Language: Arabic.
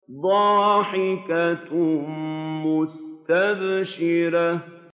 ضَاحِكَةٌ مُّسْتَبْشِرَةٌ